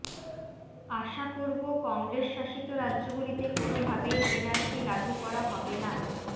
আশা করব কংগ্রেস শাসিত রাজ্যগুলিতে কোনও ভাবেই এনআরসি লাগু করা হবে না